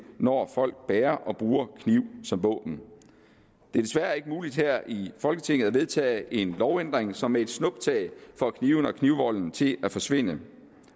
når folk bærer og bruger kniv som våben det er desværre ikke muligt her i folketinget at vedtage en lovændring som med et snuptag får knivene og knivvolden til at forsvinde